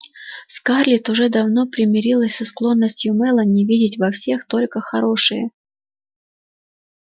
скарлетт уже давно примирилась со склонностью мелани видеть во всех только хорошее